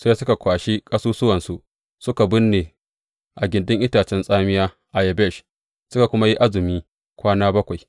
Sai suka kwashi ƙasusuwansu suka binne a gindin itace tsamiya a Yabesh, suka kuma yi azumi kwana bakwai.